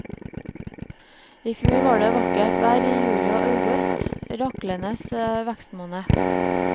I fjor var det vakkert vær i juli og august, raklenes vekstmåned.